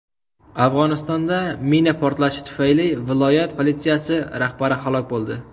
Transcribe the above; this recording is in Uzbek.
Afg‘onistonda mina portlashi tufayli viloyat politsiyasi rahbari halok bo‘ldi.